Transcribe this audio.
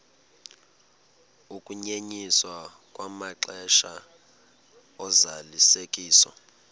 ukunyenyiswa kwamaxesha ozalisekiso